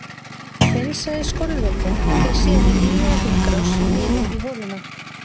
Hreinsaði skolvökvinn fer síðan í nýja hringrás niður í holuna.